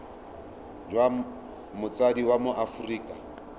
jwa motsadi wa mo aforika